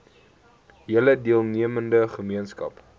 hele deelnemende gemeenskap